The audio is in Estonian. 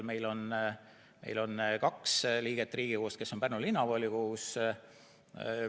Meil on kaks liiget Riigikogus, kes on ka Pärnu Linnavolikogus.